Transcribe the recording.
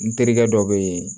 N terikɛ dɔ bɛ yen